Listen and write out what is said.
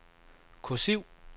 kursiv